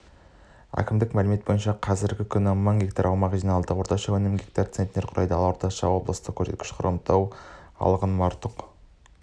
әкімдіктің мәліметі бойынша қазіргі күні мың гектар аумақ жиналды орташа өнім гектардан центнерді құрайды ал орташа облыстық көрсеткіш хромтау алғын мартұқ